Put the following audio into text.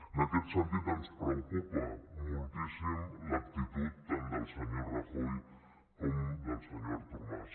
en aquest sentit ens preocupa moltíssim l’actitud tant del senyor rajoy com del senyor artur mas